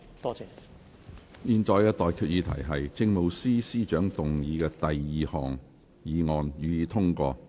我現在向各位提出的待決議題是：政務司司長動議的第二項議案，予以通過。